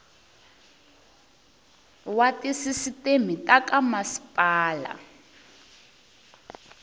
wa tisisiteme ta ka masipala